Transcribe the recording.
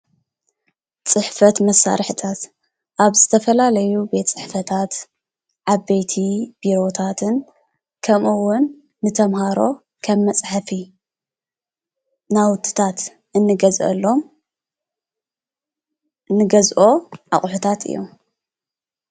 ፅሕፈት መሳርሕታት ኣብ ዝተፋላለዩ ቤት ፅሕፈታት ዓበይቲ ቢሮታትን ከምኡ እዉን ንተማሃሮ ከም መፅሕፊ ናዉቲታ እኒገዘኦሎሞ እኒገዞኦ ኣቁሕታት እዮሞ፡፡